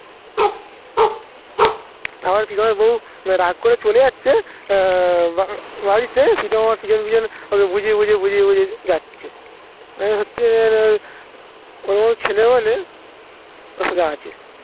আবার প্রিতমের বউ, রাগ করে চলে যাচ্ছে. অ্যা বাড়িতে, সীতা মামা পিছন পিছন ওকে বুঝিয়ে বুঝিয়ে বুঝিয়ে বুঝিয়ে যাচ্ছে. এই হচ্ছে ওর মতন ছেলে হলে অসুবিধা আছে